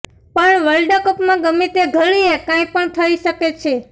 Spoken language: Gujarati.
પણ વર્લ્ડ કપમાં ગમે તે ઘડીએ કાંઈ પણ થઈ શકે છે